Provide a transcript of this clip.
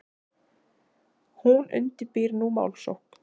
Hún undirbýr nú málsókn.